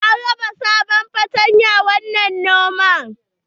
An raba sabon fatanya wa manoma.